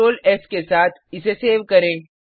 Ctrl S के साथ इसे सेव करें